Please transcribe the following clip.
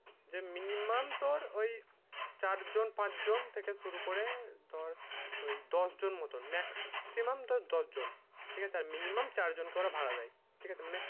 যে minimum তোর ঐই চার জন পাঁচ জন থেকে শুরু করে ওই দশ জন মতন maximum তো দশ জন ঠিক আছে আর minimum চার জন কে ওরা ভাড়া দেয় ঠিক আছে মানে